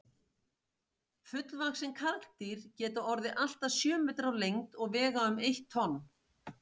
Fullvaxin karldýr geta orðið allt að sjö metrar á lengd og vega um eitt tonn.